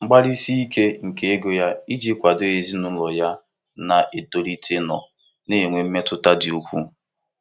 Mgbalịsi ike nke ego ya iji kwado ezinụlọ ya na-etolite nọ na-enwe mmetụta dị ukwuu.